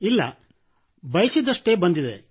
ಇಲ್ಲ ಬಯಸಿದಷ್ಟೇ ಬಂದಿದೆ